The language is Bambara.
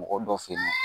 Mɔgɔ dɔ fe yen